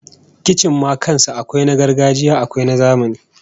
Kicin ma kan sa akwai na gargajiya akwai na zamani